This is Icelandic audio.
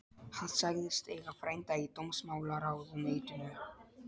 Hann sagðist eiga frænda í dómsmálaráðuneytinu.